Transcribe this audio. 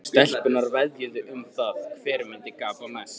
Stelpurnar veðjuðu um það hver myndi gapa mest.